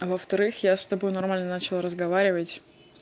а во-вторых я с тобой нормально начала разговаривать